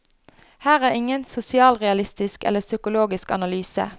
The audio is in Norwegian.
Her er ingen sosialrealistisk eller psykologisk analyse.